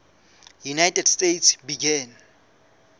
united states began